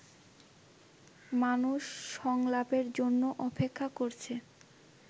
মানুষ সংলাপের জন্য অপেক্ষা করছে